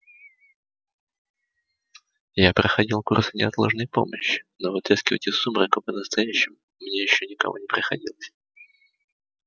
я проходил курсы неотложной помощи но вытаскивать из сумрака по-настоящему мне ещё никого не приходилось